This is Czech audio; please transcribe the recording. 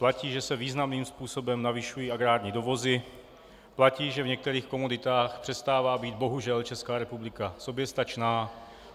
Platí, že se významným způsobem navyšují agrární dovozy, platí, že v některých komoditách přestává být bohužel Česká republika soběstačná.